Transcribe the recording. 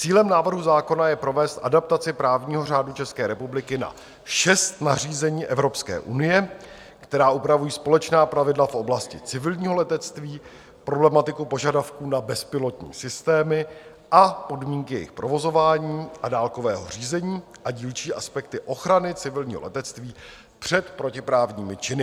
Cílem návrhu zákona je provést adaptaci právního řádu České republiky na šest nařízení Evropské unie, která upravují společná pravidla v oblasti civilního letectví, problematiku požadavků na bezpilotní systémy a podmínky jejich provozování a dálkového řízení a dílčí aspekty ochrany civilního letectví před protiprávními činy.